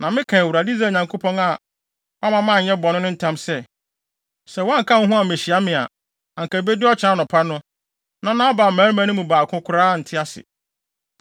Na meka Awurade, Israel Nyankopɔn a wamma manyɛ wo bɔne no ntam sɛ, sɛ woanka wo ho ammehyia me a, anka ebedu ɔkyena anɔpa no, na Nabal mmarima no mu baako koraa nte ase.”